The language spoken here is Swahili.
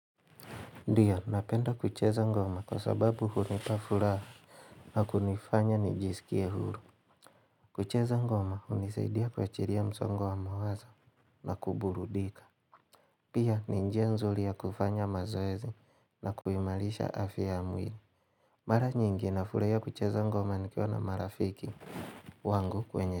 Ndio, napenda kucheza ngoma kwa sababu hunipafuraha na kunifanya nijisikie huru. Kucheza ngoma, unisaidia kuachiria mzongo wa mawazo na kuburudika. Pia, ninjia nzuli ya kufanya mazoezi na kuimalisha afya ya mwili Mara nyingi nafurahia kucheza ngoma nikiwa na marafiki wangu kwenye.